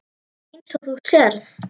Eins og þú sérð.